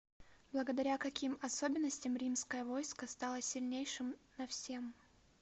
благодаря каким особенностям римское войско стало сильнейшим на всем